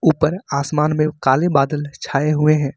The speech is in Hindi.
ऊपर आसमान में काले बदल छाए हुए हैं।